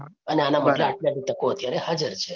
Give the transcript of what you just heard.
અને આના આટલી આટલી તકો અત્યારે હાજર છે.